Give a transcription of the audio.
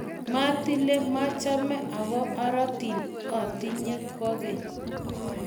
matile mechame aku arotin otinye kwekeny